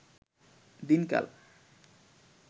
দিনকাল